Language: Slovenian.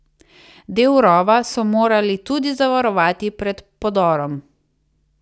Del rova so morali tudi zavarovati pred podorom.